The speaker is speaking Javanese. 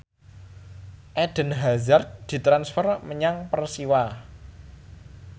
Eden Hazard ditransfer menyang Persiwa